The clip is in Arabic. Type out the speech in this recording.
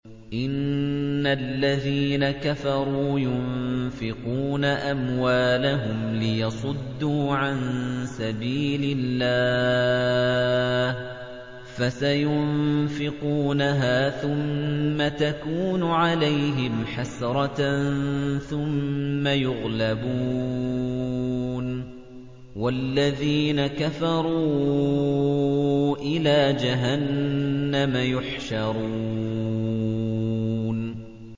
إِنَّ الَّذِينَ كَفَرُوا يُنفِقُونَ أَمْوَالَهُمْ لِيَصُدُّوا عَن سَبِيلِ اللَّهِ ۚ فَسَيُنفِقُونَهَا ثُمَّ تَكُونُ عَلَيْهِمْ حَسْرَةً ثُمَّ يُغْلَبُونَ ۗ وَالَّذِينَ كَفَرُوا إِلَىٰ جَهَنَّمَ يُحْشَرُونَ